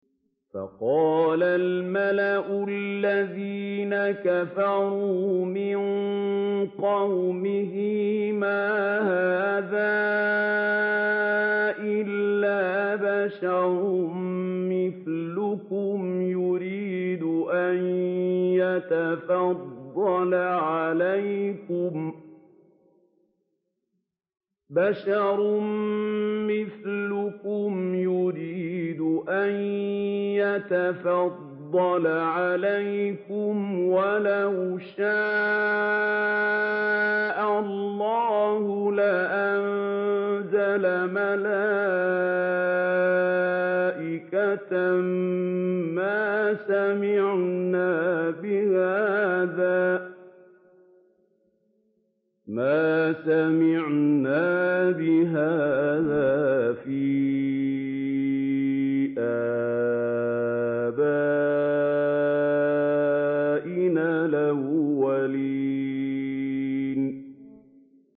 فَقَالَ الْمَلَأُ الَّذِينَ كَفَرُوا مِن قَوْمِهِ مَا هَٰذَا إِلَّا بَشَرٌ مِّثْلُكُمْ يُرِيدُ أَن يَتَفَضَّلَ عَلَيْكُمْ وَلَوْ شَاءَ اللَّهُ لَأَنزَلَ مَلَائِكَةً مَّا سَمِعْنَا بِهَٰذَا فِي آبَائِنَا الْأَوَّلِينَ